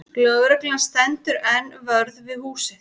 Lögreglan stendur enn vörð við húsið